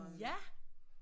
Ja